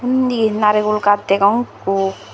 undi narigul gaj degong ikko.